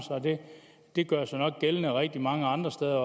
det gør sig nok gældende også rigtig mange andre steder